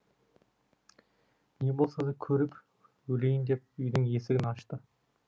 не болса да көріп өлейін деп үйдің есігін ашты